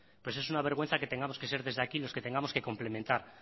pues es una vergüenza que tengamos que ser desde aquí los que tengamos que complementar